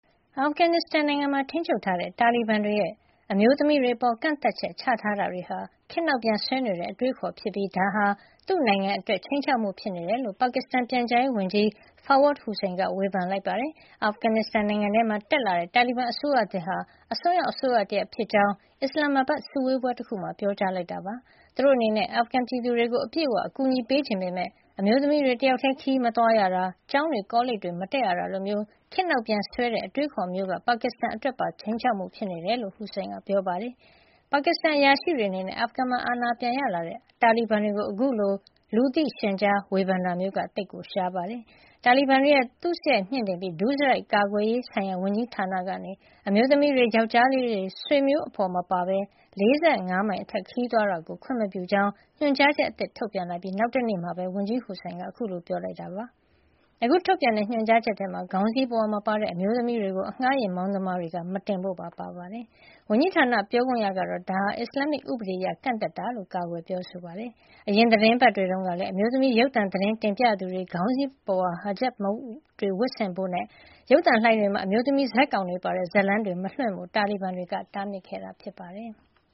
အာဖဂန်နစ္စတန်မှာ ထိန်းချုပ်ထားတဲ့ တာလီဘန်တွေရဲ့ အမျိုးသမီးတွေအပေါ် ကန့်သတ်ချက်ချထားတာတွေဟာ ခေတ်နောက်ပြန်ဆွဲနေတဲ့ အတွေးအခေါ် ဖြစ်ပြီး ဒါဟာ သူ့နိုင်ငံအတွက် ခြိမ်းခြောက်မှု ဖြစ်နေတယ်လို့ ပါကစ္စတန် ပြန်ကြားရေးဝန်ကြီး Fawad Hussain က ဝေဖန်လိုက်ပါတယ်။ အာဖဂန်နစ္စတန်နိုင်ငံမှာ တက်လာတဲ့ တာလီဘန်အစိုးရသစ်ဟာ အစွန်းရောက် အစိုးရတရပ်ဖြစ်ကြောင်း အစ္စလာမ္မာဘတ် စုဝေးပွဲတခုမှာ ပြောကြားလိုက်တာပါ။ သူတို့အနေနဲ့ အာဖဂန်ပြည်သူတွေကို အပြည့်အဝ အကူညီပေးချင်ပေမယ့် အမျိုးသမီးတွေ တယောက်ထည်း ခရီးမသွားရတာ၊ ကျောင်းတွေ ကောလိပ်တွေ မတက်ရတာ လိုမျိုး ခေတ်နောက်ပြန်ဆွဲတဲ့ အတွေးအခေါ်မျိုးက ပါကစ္စတန်အတွက်ပါ ခြိမ်းခြောက်မှု ဖြစ်နေတယ်လို့ လည်း Hussain က ပြောပါတယ်။ ပါကစ္စတန်အရာရှိတွေ အနေနဲ့ အာဖဂန်မှာ အာဏာပြန်ရလာတဲ့ တာလီဘန်တွေကို အခုလို လူသိရှင်ကြား ဝေဖန်တာမျိုးက သိပ်ကို ရှားပါတယ်။ တာလီဘန်တွေရဲ့ သုစရိုက်မြှင့်တင်ပြီး ဒုစရိုက် ကာကွယ်ရေး ဆိုင်ရာဝန်ကြီးဌာန ကနေ အမျိုးသမီးတွေ ယောကျော်းလေး ဆွေမျိုးအဖေါ်မပါဘဲ ၄၅ မိုင်အထက် ခရီးသွားတာကို ခွင့်မပြုကြောင်း ညွှန်ကြားချက် အသစ် ထုတ်ပြန်လိုက်ပြီး နောက်တနေ့မှာပဲ ဝန်ကြီး Hussain က ခုလို ပြောကြားလိုက်တာပါ။ အခု ထုတ်ပြန်တဲ့ ညွှန်ကြားချက်ထဲမှာ ခေါင်းစည်းပုဝါ မပါတဲ့ အမျိုးသမီးတွေ ကို အငှါးယဉ်မောင်းသမားတွေက မတင်ဖို့ပါ ပါဝင်ပါတယ်။ ဝန်ကြီးဌာနပြောခွင့်ရ Sadiq Akif Mahajer ကတော့ ဒါဟာ အစ္စလာမ္မစ် ဥပဒေ အရ ကန့်သတ်တာ ဖြစ်ကြောင်း ကာကွယ်ပြောဆိုပါတယ်။ အရင်သီတင်းပတ်တွေတုန်းကလည်း အမျိုးသမီး ရုပ်သံသတင်း တင်ပြသူတွေ ခေါင်းစည်းပုဝါ hijab ဝတ်ဆင်ဖို့နဲ့ ရုပ်သံလိုင်းတွေမှာ အမျိုးသမီးဇာတ်ကောင်တွေပါတဲ့ ဇာတ်လမ်းတွေ မလွှင့်ဖို့ တာလီဘန်တွေက တားမြစ်ခဲ့တာ ဖြစ်ပါတယ်။